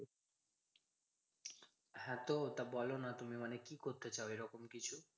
হ্যাঁ তো ওটা বোলো না তুমি। মানে কি করতে চাও এরকম কিছু?